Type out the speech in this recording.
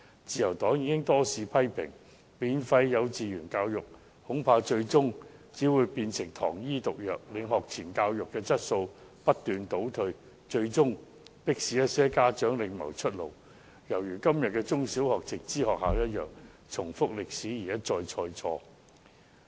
自由黨已多次批評，免費幼稚園教育恐怕最終只會變成糖衣毒藥，令學前教育的質素不斷倒退，最終迫使一些家長另謀出路，情況就如現時的直資中小學一樣，再次歷史重演，一錯再錯。